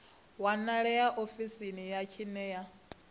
wanalea ofisini ya tsini ya